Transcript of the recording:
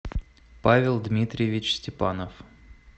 павел дмитриевич степанов